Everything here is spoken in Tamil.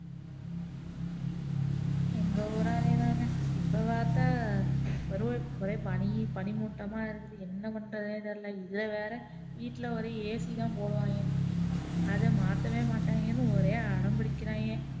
எங்க ஊரும் அதே தாங்க, இப்போ பாத்தா ஒரே பனி பனி மூட்டமா இருக்குது என்ன பண்றதுன்னே தெரியல, இதுல வேற வீட்டுல வேற ஒரே ac தான் போடுவாங்க, அதை மாத்தவே மாட்டாங்கன்னு ஒரே அடம் புடிக்கிறாங்க